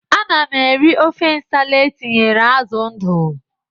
Ana m eri ofe nsala e tinyere azụ ndụ.